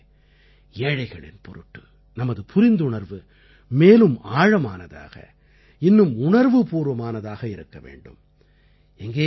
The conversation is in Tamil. இவற்றோடு கூடவே ஏழைகளின் பொருட்டு நமது புரிந்துணர்வு மேலும் ஆழமானதாக இன்னும் உணர்வுபூர்வமானதாக இருக்க வேண்டும்